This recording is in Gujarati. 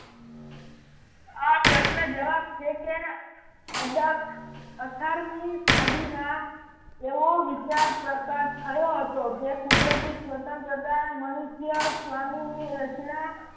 આ પ્રશ્ર્ન જવાબ છે કે અઢાર અઠારમી સદીમાં એવો વિચાર પસાર થયો હતો જે કુદરતી સ્વતંત્રતા ને મનુષ્ય સ્વામીની સચના